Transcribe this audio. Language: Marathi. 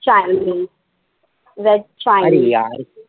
Chinese veg chinese